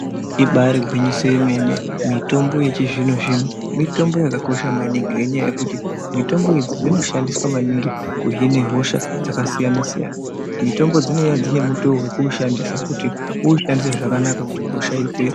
Ibaari gwinyiso yemene, mitombo yechizvino-zvino mitombo yakakosha maningi, ngenyaya yekuti mitombo idzi dzinoshandiswa maningi kuhine hosha dzakasiyana-siyana. Mitombo dzinouya dzinemutoo we kushandisa, kuti uushandise zvakanaka, kuti hosha ipere.